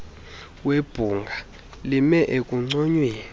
webhunga lime ekunconyweni